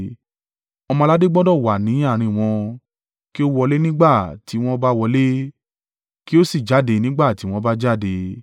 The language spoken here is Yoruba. Ọmọ-aládé gbọdọ̀ wà ní àárín wọn, kí ó wọlé nígbà tí wọn bá wọlé, kí ó sì jáde nígbà tí wọn bá jáde.